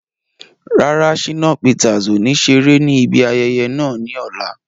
Rárá, Shínà Peters ọ̀ ní ṣeré ní ibi ayẹyẹ náà ní ọ̀la